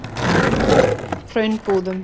Hraunbúðum